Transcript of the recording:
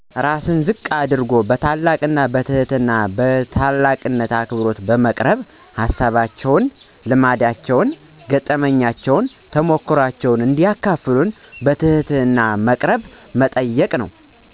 ራስን ዝቅ አድርጎ በታላቅ ትህትና በታላቅ አክብሮ በመቅረብ ሀሳባቸውን፣ ልምዳቸውን፣ ገጠመኛቸውን፣ ተሞክሯቸውን እንዲያካፍሉን በትህትና መቅረብና መጠየቅ ነው።